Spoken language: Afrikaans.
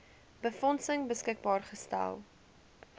befondsing beskikbaar gestel